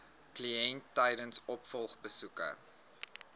kliënt tydens opvolgbesoeke